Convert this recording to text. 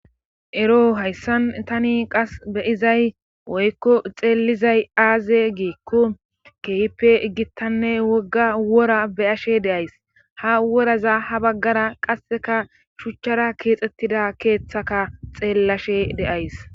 ero hayssan tani qas be'izay woykko xeellizay aaze giikku keehpe igittanne wogga wora beyashe deays ha woraza ha baggara qasseka shuchchara keexxettida keeththaka xeellashe de'ays